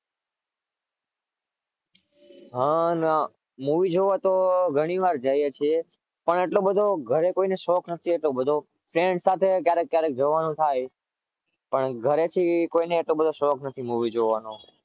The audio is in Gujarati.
હા ના movie જોવા તો ઘણી વાર જઇયે છે પણ એટલો બધો ઘરે શોક નથી friend સાથે ક્યારે ક્યારે જવાનું થાય